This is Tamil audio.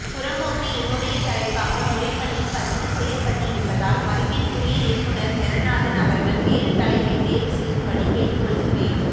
புறம்போக்கு என்னுடைய தலைப்பாக முறைப்படி பதிவு செய்யப்பட்டிருப்பதால் மதிப்பிற்குரிய இயக்குநர் ஜனநாதன் அவர்கள் வேறு தலைப்பை தேர்வு செய்யும்படி கேட்டுக்கொள்கிறேன்